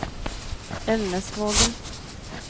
Elnesvågen